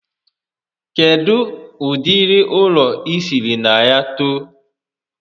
Kedụ ụdịrị ụlọ I sịrị na ya too?